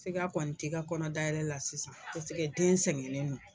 Sika kɔni t'i ka kɔnɔ dayɛlɛ la sisan, paseke den sɛgɛnlen don.